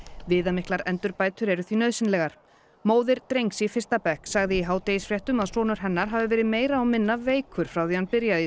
viðamiklar endurbætur eru því nauðsynlegar móðir drengs í fyrsta bekk sagði í hádegisfréttum að sonur hennar hafi verið meira og minna veikur frá því hann byrjaði í